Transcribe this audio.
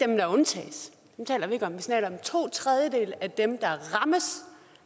dem der undtages dem taler vi ikke om vi taler om at to tredjedele af dem der rammes